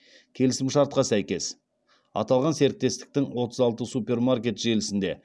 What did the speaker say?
келісімшартқа сәйкес аталған серіктестіктің отыз алты супермаркет желісінде